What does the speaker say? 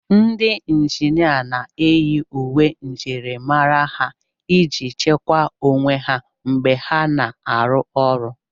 Ndị injinia na-eyi uwe njirimara ha iji chekwaa onwe ha mgbe ha na-arụ ọrụ.